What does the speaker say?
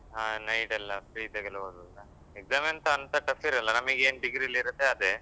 ಆ night ಎಲ್ಲ free ಇದ್ದಾಗೆಲ್ಲ ಓದುದು. Exam ಎಂತ ಅಂತ tough ಇರಲ್ಲ ನಮಗೇನು degree ಯಲ್ಲಿ ಇರುತ್ತೆ ಅದೆ.